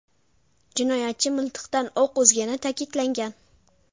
Jinoyatchi miltiqdan o‘q uzgani ta’kidlangan.